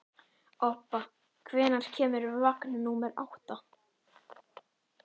Obba, hvenær kemur vagn númer átta?